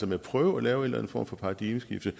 med at prøve at lave en eller anden form for paradigmeskifte